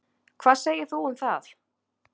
Hvað segir þú um það?